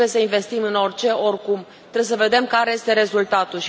Nu trebuie să investim în orice, oricum, trebuie să vedem care este rezultatul.